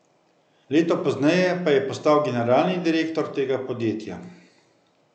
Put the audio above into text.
Leto pozneje pa je postal generalni direktor tega podjetja.